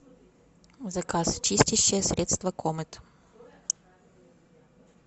заказ чистящее средство комет